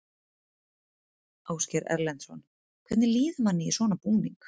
Ásgeir Erlendsson: Hvernig líður manni í svona búning?